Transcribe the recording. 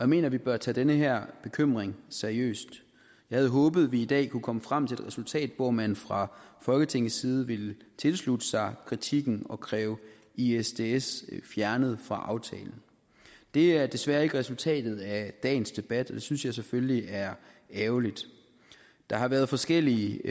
mener at vi bør tage den her bekymring seriøst jeg havde håbet vi i dag kunne komme frem til et resultat hvor man fra folketingets side ville tilslutte sig kritikken og kræve isds isds fjernet fra aftalen det er desværre ikke resultatet af dagens debat og det synes jeg selvfølgelig er ærgerligt der har været forskellige